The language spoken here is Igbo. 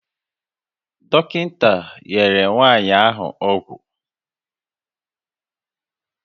Dọkịta nyere nwanyị ahụ ọgwụ